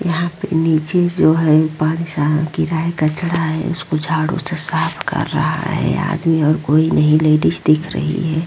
यहाँ पे निचे जो है पांच साई की राइ का झाड़ा है उसको झाड़ू से साफ़ कर रहा है आदमी और नहीं लेडीज दिख रही है।